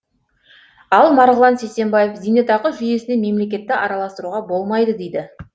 ал марғұлан сейсембаев зейнетақы жүйесіне мемлекетті араластыруға болмайды дейді